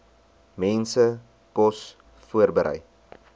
mense kos voorberei